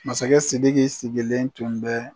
Masakɛ Sidiki sigilen tun bɛ